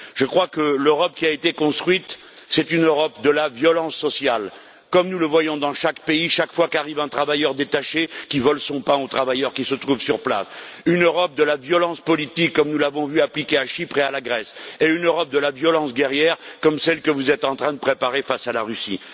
Je crois que l'Europe qui a été construite, c'est une Europe de la violence sociale, comme nous le voyons dans chaque pays chaque fois qu'arrive un travailleur détaché, qui vole son pain aux travailleurs qui se trouvent sur place, une Europe de la violence politique, comme nous l'avons vu appliquer à Chypre et à la Grèce, et une Europe de la violence guerrière, comme celle que vous êtes en train de préparer face à la Russie.